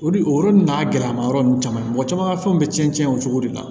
O de o n'a gɛlɛmayɔrɔ ninnu caman mɔgɔ caman ka fɛnw bɛ cɛn cɛn o cogo de la